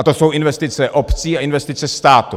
A to jsou investice obcí a investice státu.